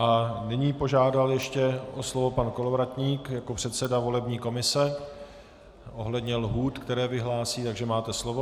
A nyní požádal ještě o slovo pan Kolovratník jako předseda volební komise ohledně lhůt, které vyhlásí, takže máte slovo.